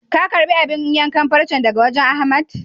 Ka karɓi abun yankan farcen daga wajen Ahmad?